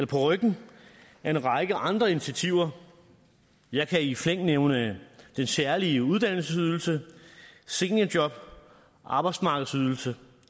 ryggen af en række andre initiativer jeg kan i flæng nævne den særlige uddannelsesydelse seniorjob arbejdsmarkedsydelse